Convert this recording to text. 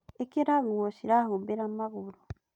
ĩkĩra nguo cirahumbĩra magũrũ